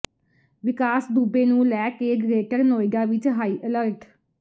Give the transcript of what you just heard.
ਵਿਕਾਸ ਦੁਬੇ ਨੂੰ ਲੈ ਕੇ ਗ੍ਰੇਟਰ ਨੋਇਡਾ ਵਿਚ ਹਾਈ ਅਲਰਟ